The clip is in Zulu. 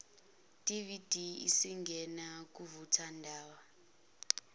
dvd isingena kuvuthondaba